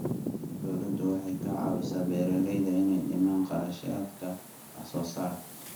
Dawladdu waxay ka caawisaa beeralayda inay dhimaan kharashaadka wax soo saarka.